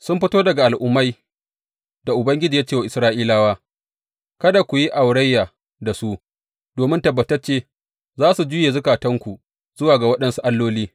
Sun fito daga al’ummai da Ubangiji ya ce wa Isra’ilawa, Kada ku yi aurayya da su, domin tabbatacce za su juye zukatanku zuwa ga waɗansu alloli.